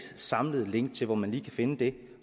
samlet link til hvor man lige kan finde det